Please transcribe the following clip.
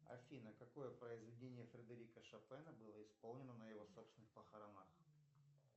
афина какое произведение фредерика шопена было исполнено на его собственных похоронах